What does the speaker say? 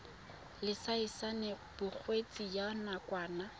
laesense ya bokgweetsi ya nakwana